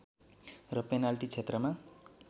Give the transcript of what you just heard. र पेनाल्टी क्षेत्रमा